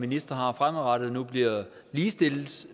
ministre har fremadrettet nu bliver ligestillet